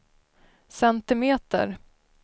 centimeter